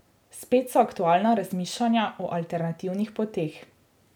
Spet so aktualna razmišljanja o alternativnih poteh.